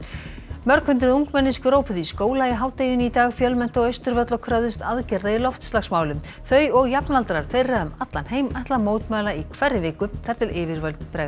mörg hundruð ungmenni skrópuðu í skóla í hádeginu í dag fjölmenntu á Austurvöll og kröfðust aðgerða í loftslagsmálum þau og jafnaldrar þeirra um allan heim ætla að mótmæla í hverri viku þar til yfirvöld bregðast